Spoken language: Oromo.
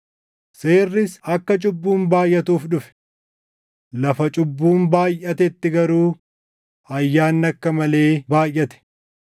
Seerris akka cubbuun baayʼatuuf dhufe. Lafa cubbuun baayʼatetti garuu ayyaanni akka malee baayʼate;